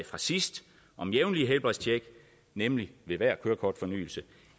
fra sidst om et jævnligt helbredstjek nemlig ved hver kørekortfornyelse